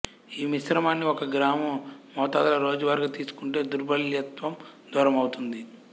ఈ మిశ్రమాన్ని ఒక గ్రాము మోతాదులో రోజువారీగా తీసుకుంటే దుర్భలత్వం దూరమవుతుంది